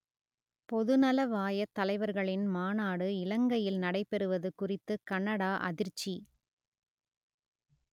பொதுநலவாயத் தலைவர்களின் மாநாடு இலங்கையில் நடைபெறுவது குறித்து கனடா அதிர்ச்சி